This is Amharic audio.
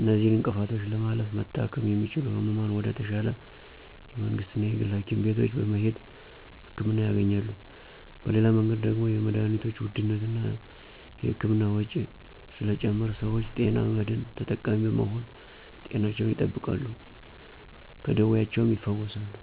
እነዚህን እንቅፍቶች ለማለፍ መታከም የሚችሉት ህሙማን ወደ ተሻለ የመንግስትና የግል ሀኪም ቤቶች በመሄድ ህክምና ያገኛሉ። በሌላ መንገድ ደግሞ የመድሀኒቶችን ውድነትና እና የህክምና ወጭ ስለጨመረ ሰወች የጤና መድን ተጠቃሚ በመሆን ጤናቸውን ይጠብቃሉ ከደወያቸውም ይፈወሳሉ።